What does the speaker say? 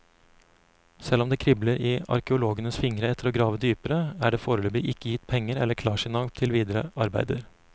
Selv om det kribler i arkeologenes fingre etter å grave dypere, er det foreløpig ikke gitt penger eller klarsignal til videre arbeider.